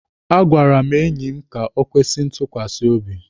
A gwara m enyi m ka o kwesi ntukwasi obi.